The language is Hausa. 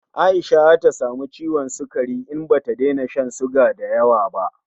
Aisha zata samu ciwon sukari in bata daina shan suga dayawa ba